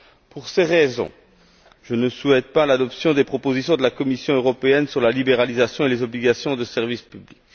Pour ces raisons, je ne souhaite pas l'adoption des propositions de la Commission européenne sur la libéralisation et les obligations de service public.